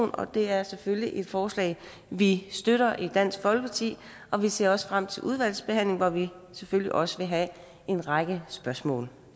det er selvfølgelig et forslag vi støtter i dansk folkeparti og vi ser også frem til udvalgsbehandlingen hvor vi selvfølgelig også vil have en række spørgsmål